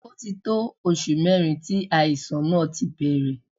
Ó ti tó oṣù mẹ́rin tí àìsàn náà ti bẹ̀rẹ̀.